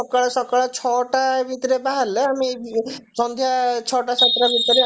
ସକାଳ ଛଅଟା ଭିତରେ ବାହାରିଲେ ଆମେ ଏଇ ସନ୍ଧ୍ଯା ଛଅଟା ସାତଟା ଭିତରେ ଆସି